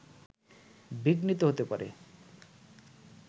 বিঘ্নিত হতে পারে